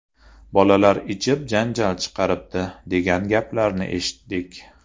Bolalar ichib janjal chiqaribdi, degan gaplarni eshitdik.